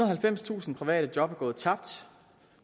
halvfemstusind private job er gået tabt